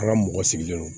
An ka mɔgɔ sigilen don